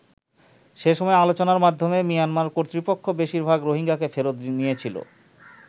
সে সময় আলোচনার মাধ্যমে মিয়ানমার কর্তৃপক্ষ বেশিরভাগ রোহিঙ্গাকে ফেরত নিয়েছিল।